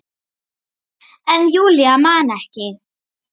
En Júlía man ekki.